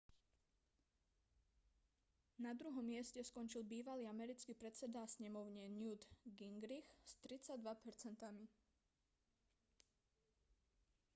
na druhom mieste skončil bývalý americký predseda snemovne newt gingrich s 32 percentami